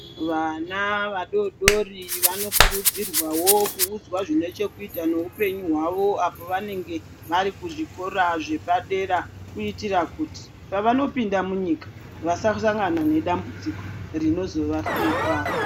Vana vadodori vanokurudzirwawo kuudzwa zvine chekuita neupenyu hwawo apo vanenge vari kuzvikora zvepadera kuitira kuti pavanopinda munyika vasasangana nedambudziko rinozovahlupa.